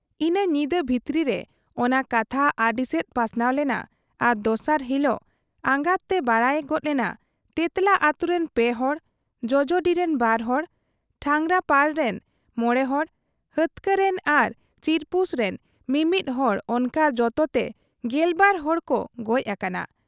ᱤᱱᱟᱹ ᱧᱤᱫᱟᱹ ᱵᱷᱤᱛᱨᱟᱹ ᱨᱮ ᱚᱱᱟ ᱠᱟᱛᱷᱟ ᱟᱹᱰᱤᱥᱮᱫ ᱯᱟᱥᱱᱟᱣ ᱞᱮᱱᱟ ᱟᱨ ᱫᱚᱥᱟᱨ ᱦᱤᱠᱚᱜ ᱟᱸᱜᱟᱜᱛᱮ ᱵᱟᱰᱟᱭ ᱜᱚᱫ ᱮᱱᱟ ᱛᱮᱸᱛᱞᱟ ᱟᱹᱛᱩᱨᱤᱱ ᱯᱮ ᱦᱚᱲ, ᱡᱚᱡᱚᱰᱤᱨᱤᱱ ᱵᱟᱨᱦᱚᱲ, ᱴᱟᱸᱜᱽᱨᱟᱯᱟᱲ ᱨᱤᱱ ᱢᱚᱬᱮᱦᱚᱲ, ᱦᱟᱹᱛᱠᱟᱹ ᱨᱤᱱ ᱟᱨ ᱪᱤᱨᱯᱩᱥ ᱨᱤᱱ ᱢᱤ ᱢᱤᱫ ᱦᱚᱲ ᱚᱱᱠᱟ ᱡᱚᱛᱚᱛᱮ ᱜᱮᱞᱵᱟᱨ ᱦᱚᱲᱠᱚ ᱜᱚᱡ ᱟᱠᱟᱱᱟ ᱾